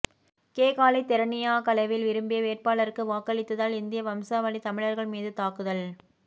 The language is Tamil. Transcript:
கேகாலை தெரணியாகலவில் விரும்பிய வேட்பாளருக்கு வாக்களித்ததால் இந்திய வம்சாவளித் தமிழர்கள் மீது தாக்குதல்